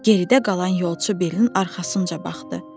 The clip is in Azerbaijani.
Geridə qalan yolçu Billin arxasınca baxdı.